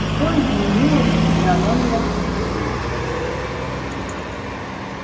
что изменилось в физиономиях свиней